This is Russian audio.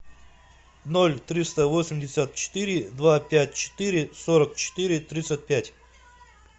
ноль триста восемьдесят четыре два пять четыре сорок четыре тридцать пять